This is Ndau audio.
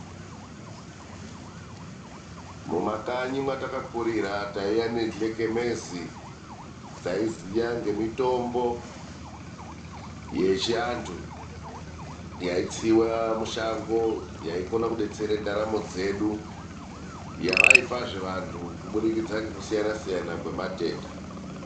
Mumakanyi mwatakakurira taiva nehlekemezi dzaiziya ngemitombo yechiantu, yaitsiwa mushago yaikone kudetsere ndaramo dzedu. Yavaipazve vantu kubudikidza ngekusiyana siyana kwematenda.